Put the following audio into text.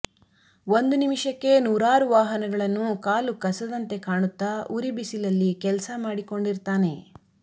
ಒಂದು ನಿಮಿಷಕ್ಕೇ ನೂರಾರು ವಾಹನಗಳನ್ನು ಕಾಲು ಕಸದಂತೆ ಕಾಣುತ್ತ ಉರಿ ಬಿಸಿಲಲ್ಲಿ ಕೆಲ್ಸ ಮಾಡಿಕೊಂಡಿರ್ತಾನೆ